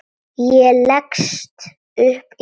Ég leggst upp í rúmið.